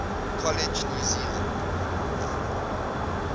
college new zealand